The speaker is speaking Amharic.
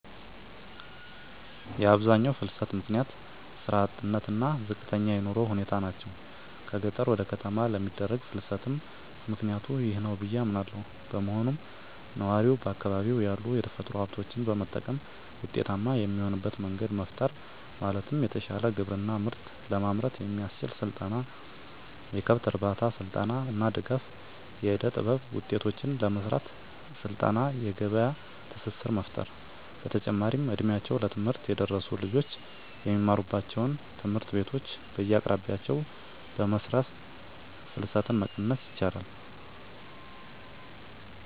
የአብዛኛው ፍልሰት ምክንያት ስራ አጥነት እና ዝቅተኛ የኑሮ ሁኔታ ናቸው። ከገጠር ወደ ከተማ ለሚደረግ ፍልስትም ምክኒያቱ ይህ ነው ብዬ አምናለው። በመሆኑም ነዋሪው በአካባቢው ያሉ የተፈጥሮ ሀብቶችን በመጠቀም ውጤታማ የሚሆንበት መንገድ መፍጠር ማለትም የተሻለ ግብርና ምርት ለማምረት የሚያስችል ስልጠና፣ የከብት እርባታ ስልጠና እና ድጋፍ. ፣ የእደጥበብ ውጤቶችን ለመሰራት ስልጠና የገበያ ትስስር መፍጠር። በተጨማሪም እ ድሜያቸው ለትምህርት የደረሱ ልጆች የሚማሩባቸውን ትምህርት ቤቶች በየአቅራቢያቸው በመስራት ፍልሰትን መቀነስ ይቻላል።